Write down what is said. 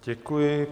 Děkuji.